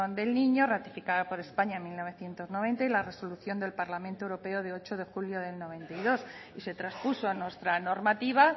del niño ratificada por españa en mil novecientos noventa y la resolución del parlamento europeo de ocho de julio de mil novecientos noventa y dos y se traspuso a nuestra normativa